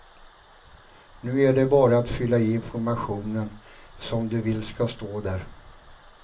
Nu är det bara att fylla i informationen som du vill ska stå där.